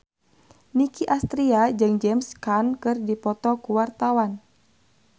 Nicky Astria jeung James Caan keur dipoto ku wartawan